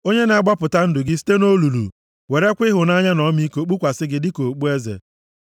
onye na-agbapụta ndụ gị site nʼolulu werekwa ịhụnanya na ọmịiko kpukwasị gị dịka okpueze,